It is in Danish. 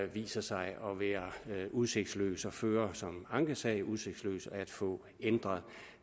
viser sig at være udsigtsløs at føre som en ankesag og udsigtsløs at få ændret